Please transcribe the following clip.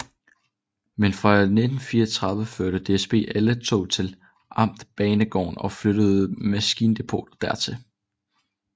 Men fra 1934 førte DSB alle tog til amtsbanegården og flyttede maskindepotet dertil